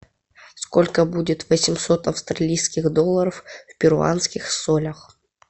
сколько будет восемьсот австралийских долларов в перуанских солях